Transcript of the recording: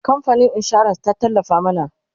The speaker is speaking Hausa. kamfanin insuran ta tallafa mana